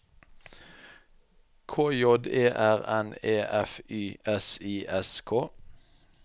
K J E R N E F Y S I S K